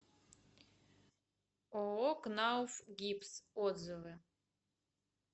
ооо кнауф гипс отзывы